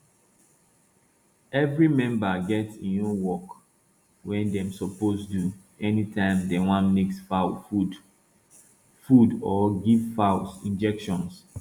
every member get im own work wey dem suppose do anytime dem want mix fowl food food or give fowls injections